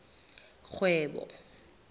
kgwebo